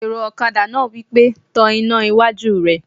Èrò ọ̀kadà náà wí pé "tan iná iwájú rẹ!"